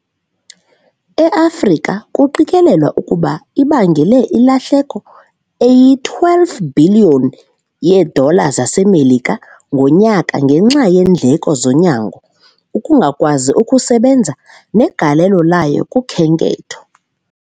EAfrika kuqikelelwa ukuba ibangela ilahleko eyi-12 bhiliyoni yeedola zaseMelika ngonyaka ngenxa yeendleko zonyango, ukungakwazi ukusebenza negalelo layo kukhenketho.